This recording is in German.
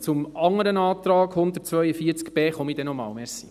Zum anderen Antrag zu Artikel 142b